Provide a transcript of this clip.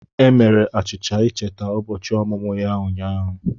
E mere achicha ịcheta ụbọchị ọmụmụ ya ụnyaahụ.